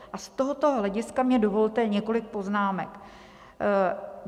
A z tohoto hlediska mně dovolte několik poznámek.